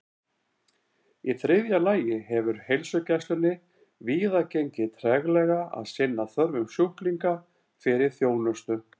Í þriðja lagi hefur heilsugæslunni víða gengið treglega að sinna þörfum sjúklinga fyrir þjónustu.